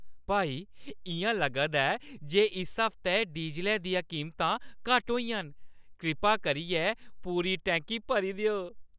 भाई, इ'यां लगदा ऐ जे इस हफ्तै डीज़लै दियां कीमतां घट्ट होइयां न। कृपा करियै पूरी टैंकी भरी देओ।